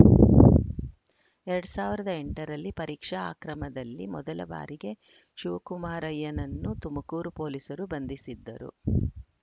ಎರಡ್ ಸಾವಿರದ ಎಂಟರಲ್ಲಿ ಪರೀಕ್ಷಾ ಅಕ್ರಮದಲ್ಲಿ ಮೊದಲ ಬಾರಿಗೆ ಶಿವಕುಮಾರಯ್ಯನನ್ನು ತುಮಕೂರು ಪೊಲೀಸರು ಬಂಧಿಸಿದ್ದರು